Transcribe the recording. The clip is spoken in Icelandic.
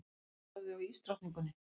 Passaðu þig á ísdrottningunni.